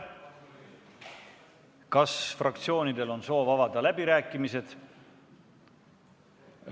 Kas fraktsioonidel on soov avada läbirääkimised?